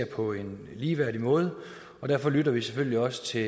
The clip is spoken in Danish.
på en ligeværdig måde og derfor lytter vi selvfølgelig også til